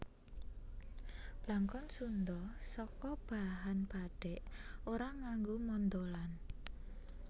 Blangkon Sundha saka bahan bathik ora nganggo mondholan